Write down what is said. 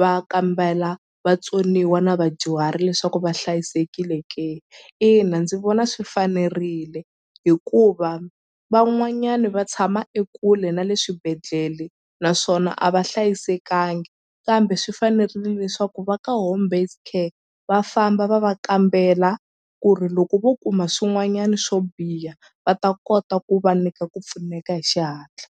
va kambela vatsoniwa na vadyuhari leswaku va hlayisekile ke ina ndzi vona swi fanerile hikuva van'wanyani va tshama ekule na le swibedhlele naswona a va hlayisekangi kambe swi fanerile leswaku va ka home based care va famba va va kambela ku ri loko vo kuma swin'wanyani swo biha va ta kota ku va nyika ku pfuneka hi xihatla.